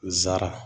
Nsara